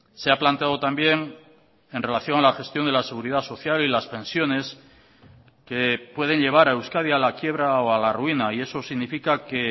se ha planteado también en relación a la gestión de la seguridad social y las pensiones que pueden llevar a euskadi a la quiebra o a la ruina y eso significa que